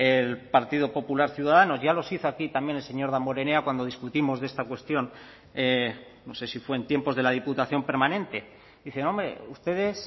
el partido popular ciudadanos ya los hizo aquí también el señor damborenea cuando discutimos de esta cuestión no sé si fue en tiempos de la diputación permanente dicen hombre ustedes